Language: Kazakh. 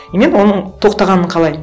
и мен оның тоқтағанын қалаймын